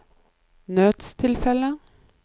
nødstilfelle